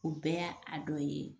O bɛɛ y'a dɔ ye